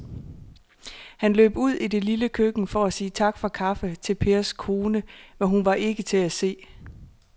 Han løb ud i det lille køkken for at sige tak for kaffe til Pers kone, men hun var ikke til at se.